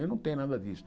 Eu não tenho nada disso.